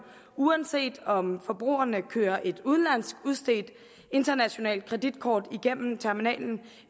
uanset om forbrugerne kører et internationalt kreditkort i gennem terminalen